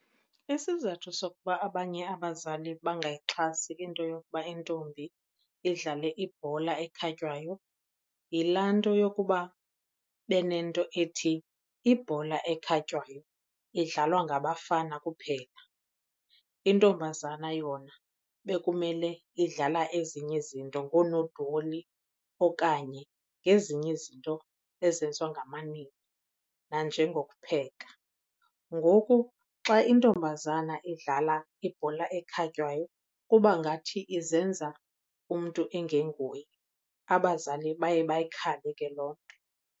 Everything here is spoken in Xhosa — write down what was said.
Isizathu sokuba abanye abazali bangayixhasi into yokuba intombi idlale ibhola ekhatywayo yilaa nto yokuba benento ethi ibhola ekhatywayo idlalwa ngabafana kuphela, intombazana yona bekumele idlala ezinye izinto ngoonodoli okanye ngezinye izinto ezenziwa ngamanina nanjengokupheka. Ngoku xa intombazana idlala ibhola ekhatywayo kuba ngathi izenza umntu engenguye. Abazali baye bayikhabe ke loo nto.